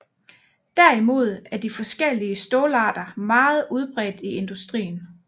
Derimod er de forskellige stålarter meget udbredt i industrien